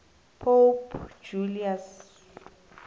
pope julius